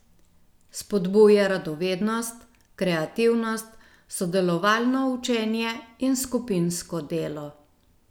Spodbuja radovednost, kreativnost, sodelovalno učenje in skupinsko delo.